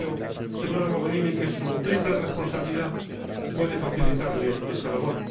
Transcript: Y creo, señora Mogherini, que su triple responsabilidad puede facilitarle esa labor.